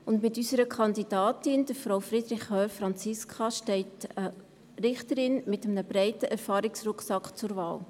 Mit unserer Kandidatin, Frau Franziska Friederich Hörr, steht eine Richterin mit einem breiten Erfahrungsrucksack zur Wahl.